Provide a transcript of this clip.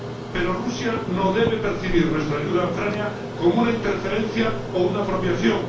Pero Rusia no debe percibir nuestra ayuda a Ucrania como una interferencia o una apropiación.